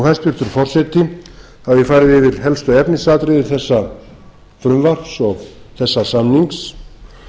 hæstvirtur forseti þá hef ég farið yfir helstu efnisatriði þessa frumvarps og þessa samnings